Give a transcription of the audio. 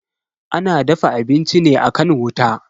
Ana dafa abinci ne akan wuta.